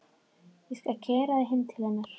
Ég skal keyra þig heim til hennar.